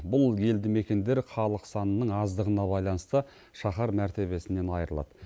бұл елді мекендер халық санының аздығына байланысты шаһар мәртебесінен айырылады